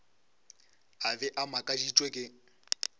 a be a makaditšwe ke